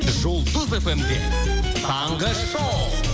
жұлдыз фм де таңғы шоу